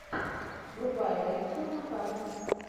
врубай рэйчел макадамс